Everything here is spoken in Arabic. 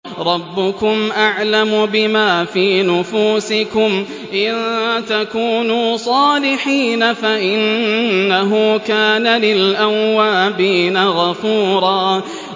رَّبُّكُمْ أَعْلَمُ بِمَا فِي نُفُوسِكُمْ ۚ إِن تَكُونُوا صَالِحِينَ فَإِنَّهُ كَانَ لِلْأَوَّابِينَ غَفُورًا